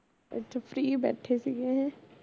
ਅੱਛਾ free ਬੈਠੇ ਸੀਗੇ ਹੈਂ